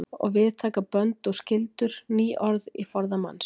Og við taka bönd og skyldur. ný orð í forða manns.